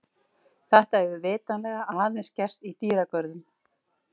Þetta hefur vitanlega aðeins gerst í dýragörðum.